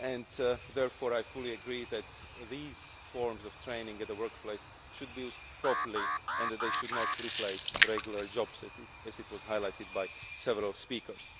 I therefore fully agree that these forms of training at the workplace should be used properly and should not replace regular jobs, as was highlighted by several speakers.